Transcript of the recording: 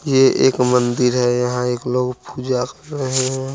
ये एक मंदिर है यहा एक लोग पूजा कर रहे है।